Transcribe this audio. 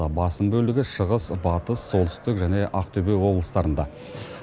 басым бөлігі шығыс батыс солтүстік және ақтөбе облыстарында